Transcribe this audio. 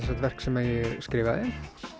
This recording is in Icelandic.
sagt verk sem ég skrifaði